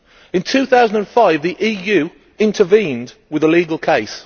In 2005 the EU intervened with a legal case.